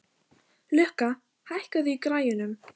Lukka, hækkaðu í græjunum.